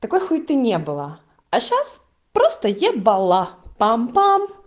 такой хуеты не было а сейчас просто ебало пам пам